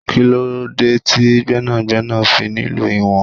Kí lóde ti Gbẹ́nàgbẹ́nà fi nílò ìwọ̀n?